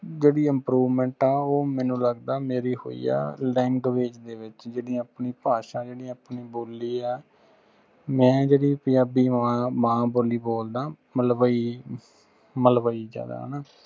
ਜੇੜੀ improvement ਹੈ ਉਹ ਮੈਨੂੰ ਲੱਗਦਾ ਮੇਰੀ ਹੋਇ ਆ language ਦੇ ਵਿਚ ਜਿਹੜੀ ਆਪਣੀ ਭਾਸ਼ਾ ਜਿਹੜੀ ਆਪਣੀ ਬੋਲੀ ਆ ਮੈਂ ਜੇੜੀ ਪੰਜਾਬੀ ਮਾਂਮਾਂ ਬੋਲੀ ਬੋਲਦਾਂ ਮਲਵਈਮਲਵਈ ਚ ਹਗਾ ਹਣਾ।